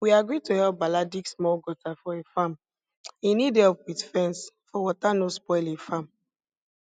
we agree to help bala dig small gutter for e farm e need help with fence for water no spoil e farm